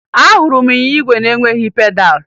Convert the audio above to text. Ahụrụ m ịnyịnya igwe na-enweghi pedalụ